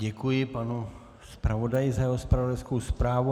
Děkuji panu zpravodaji za jeho zpravodajskou zprávu.